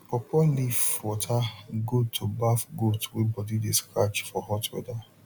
pawpaw leaf water good to baf goat wey body de scratch for hot weather